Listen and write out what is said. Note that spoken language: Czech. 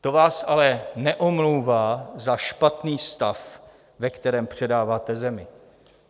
To vás ale neomlouvá za špatný stav, ve kterém předáváte zemi.